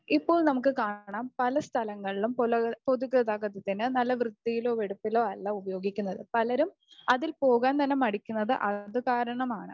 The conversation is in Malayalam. ഇപ്പോൾ നമുക്ക് കാണാം പലസ്ഥലങ്ങളിലും പൊല പൊതു ഗതാഗതത്തിനെ നല്ല വൃത്തിയിലോ വെടിപ്പിലോ അല്ല ഉപയോഗിക്കുന്നത്. പലരും അതിൽ പോകാൻ തന്നെ മടിക്കുന്നത് അതുകാരണമാണ്.